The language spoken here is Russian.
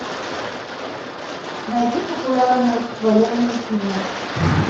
найди популярные военные фильмы